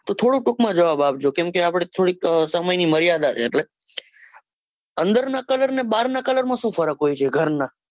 થોડું ટૂંક માં જવાબ આપજો કેમકે આપણે થોડી સમય ની મર્યાદા છે. એટલે અંદર ના colour માં અને બાર ના colour માં સુ ફર્ક હોય છે ઘરના,